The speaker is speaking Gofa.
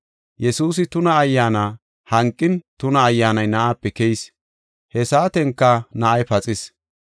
Yesuusi tuna ayyaana hanqin, tuna ayyaanay na7aape keyis; he saatenka na7ay paxis.